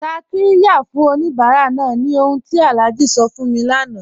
Tá qirya fún oníbàrà náà ni ọ̀hun tí Alhaji sọ fún mí láńà